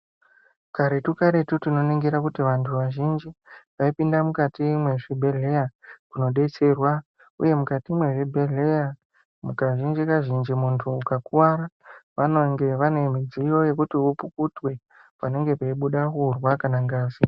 Karetu-karetu, tinoningira tinoona kuti vantu vazhinji vaipinda mukati mezvibhedhlera kunodetserwa uye mukati mwezvibhedhlera mukazhinji kazhinji muntu ukakuwara vanenge vane midziyo yekuti upukutwe panenge peibuda urwa kana ngazi.